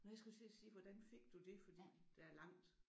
Nåh jeg skulle også til at sige hvordan fik du det? Fordi der er langt